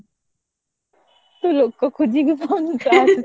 ତୁ ଲୋକ ଖୋଜିକି